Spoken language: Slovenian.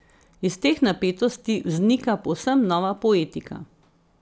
Iz teh napetosti vznika povsem nova poetika.